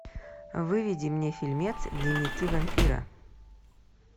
выведи мне фильмец дневники вампира